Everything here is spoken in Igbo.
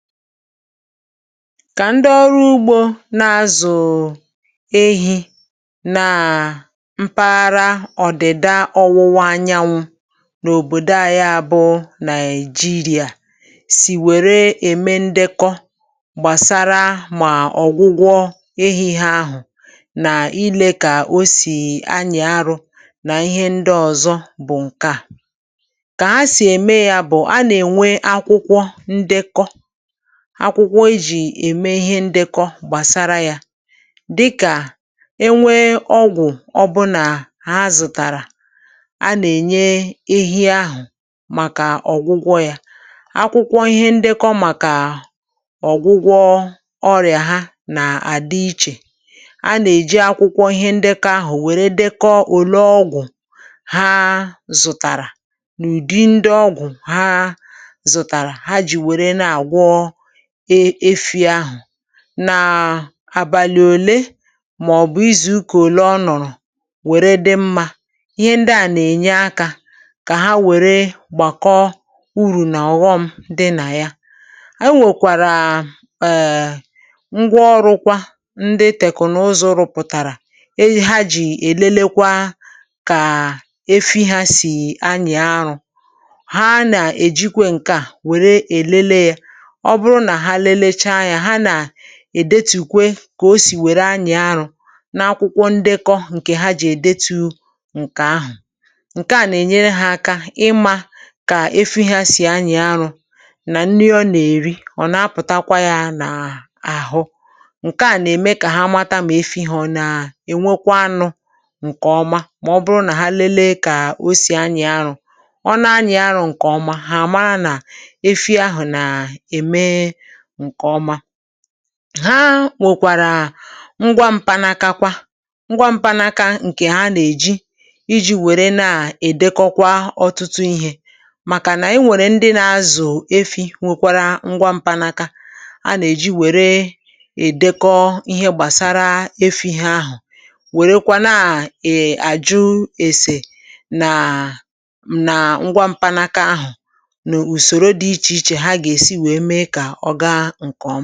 Kà ndị ọrụ ugbȯ na-azụ̀ ehì nàà mpaghara Ọ̀dịda Ọwụwa Anyanwụ n’òbòdo àyá bụ̀ Nàigeria sì wère ème ndekọ gbàsara mà ọ̀gwụgwọ ehi hȧ, ahụ̀ nà ilė, kà o sì anyị̀ arụ,̇ nà ihe ndị ọ̀zọ bụ̀ ǹke à; kà ha sì ème yȧ bụ̀ nké, a nà-ènwe akwụkwọ ndekọ akwụkwọ e jì ème ihe ndekọ gbàsara yȧ, dịkà enwee ọgwụ̀ ọbụnà ha zụ̀tàrà, a nà-ènye ehi ahụ̀ màkà ọ̀gwụgwọ yȧ. Akwụkwọ ihe ndekọ màkà ọ̀gwụgwọ ọrị̀à ha nà-àdị ichè. Anà-èji akwụkwọ ihe ndekọ ahụ̀ wère dekọ òle ọgwụ̀ ha zụ̀tàrà, n’ụ̀dị ndị ọgwụ̀ ha zụ̀tàrà, ha jì wère na-àgwọ efì ahu, nàà àbàlị̀ òle mà-ọ̀bụ̀ izù ụka òle ọ nọ̀rọ̀ wère dị mmȧ. Ihe ndi à nà-ènye akȧ kà ha wère gbàkọ urù nà ọ̀ghọm dị nà ya. Enwèkwàràà èè ngwaọrụkwa ndị tèkụ̀naụzọ rụpụ̀tàrà ha jì èlele kwa kà efi hȧ sì anyị arụ. Hà nà èjikwe ǹke à wère èlele yȧ. Ọ buru na ha lelechaa ya, ha na èdetù kwe kà o sì wère anyị̀ arụ n’akwụkwọ ndekọ ǹkè ha jì èdetu ǹkè ahụ̀. Nké à nà-ènyere hȧ aka, ịmȧ kà efi hȧ sì anyị̀ arụ, nà nni ọ nà-èri. Ọ nà-apụ̀takwa yȧ nà àhụ ǹke à nà-ème kà ha mata mà efi hȧ ọ na ènwekwa anụ ǹkè ọma. Mà ọ bụrụ nà ha lelee kà o si anyị̀ arụ ọ na anyị̀ arụ̇ ǹkè ọma, hà àmara nà efi ahụ̀ nà ème nke oma. Ha nwèkwàrà ngwa mpanaka kwa ngwa mpanaka ǹkè ha nà-èji iji wère na-èdekọkwa ọtụtụ ihė màkà nà-enwèrè ndị nȧ-azụ̀ efi nwèkwara ngwa mpanaka, a nà-èji wère èdekọ ihe gbàsara efi ha ahụ̀, wèrekwa na-àjụ èsè nàà nà ngwa mpanaka ahụ̀, n’ùsòro dị̇ ichè ichè, ha gà-èsi wèe mee kà ọ gaa ǹkè ọma.